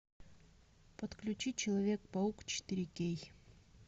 подключи человек паук четыре кей